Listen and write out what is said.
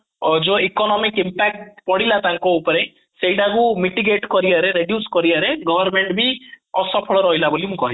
ଅ ଯୋଉ economic impact ପଡିଲା ତାଙ୍କ ଉପରେ ସେଇଟାକୁ mitigate କରିବାରେ reduce କରିବାରେ government ବି ଅସଫଳ ରହିଲା ବୋଲି ବି ମୁଁ କହୁଛି